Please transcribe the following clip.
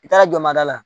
I taara jɔnmada la